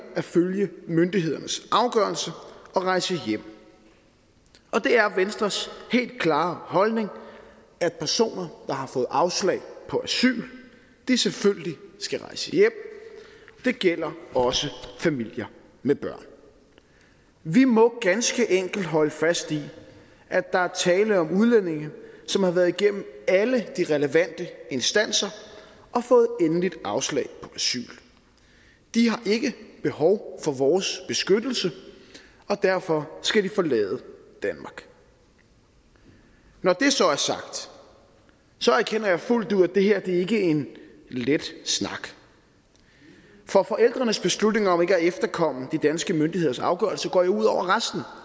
at følge myndighedernes afgørelse og rejse hjem det er venstres helt klare holdning at personer der har fået afslag på asyl selvfølgelig skal rejse hjem det gælder også familier med børn vi må ganske enkelt holde fast i at der er tale om udlændinge som har været igennem alle de relevante instanser og fået endeligt afslag på asyl de har ikke behov for vores beskyttelse og derfor skal de forlade danmark når det så er sagt erkender jeg fuldt ud at det her ikke er en let snak for forældrenes beslutning om ikke at efterkomme de danske myndigheders afgørelse går jo ud over resten